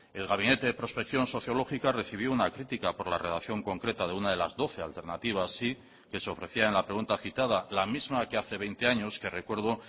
el gabinete de prospección sociológica recibió una crítica por la redacción concreta de una de las doce alternativas sí que se ofrecía en la pregunta citada la misma que hace veinte años que recuerdo